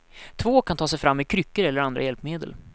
Två kan ta sig fram med kryckor eller andra hjälpmedel.